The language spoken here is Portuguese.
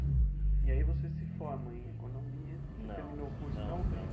E aí você se forma em economia. Não. Você terminou o curso, não terminou?